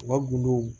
U ka gindow